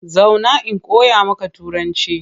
Zauna in koya maka Turanci!